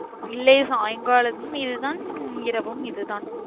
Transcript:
இல்லையே சாயங்காலமும் இதுதா இரவும் இதுதா